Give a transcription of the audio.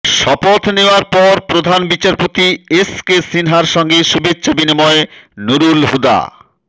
শপথ নেওয়ার পর প্রধান বিচারপতি এস কে সিনহার সঙ্গে শুভেচ্ছা বিনিময়ে নূরুল হুদা